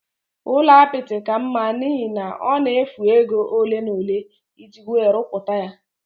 Ụlọ apịtị ka mma n'ihi na ọ na-efu ego ole n'ole iji wee ruputaya